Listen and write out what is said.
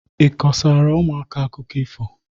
Ị kọsara ụmụaka akụkọ ifo?